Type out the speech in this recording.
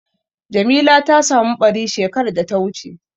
Jamila ta samu ɓari shekar da ta wuce.